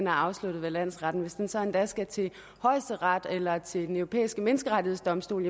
er afsluttet ved landsretten hvis den så endda skal til højesteret eller til den europæiske menneskerettighedsdomstol